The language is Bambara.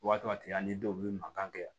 Waati ani dɔw be mankan kɛ